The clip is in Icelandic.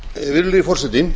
virðulegi forseti